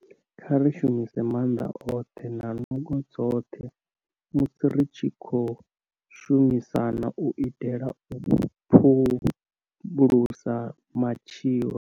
Kha ri shumise maanḓa oṱhe na nungo dzoṱhe musi ri tshi khou shumisana u itela u phulusa matshilo.